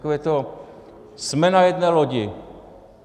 Takové to "jsme na jedné lodi".